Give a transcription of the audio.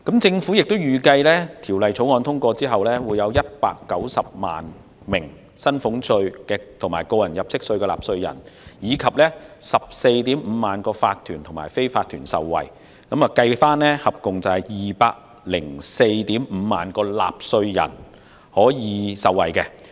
政府亦預計當《條例草案》通過後，將會有190萬名薪俸稅/個人入息課稅的納稅人及 145,000 個法團/非法團受惠，即可惠及合共 2,045 000名納稅人。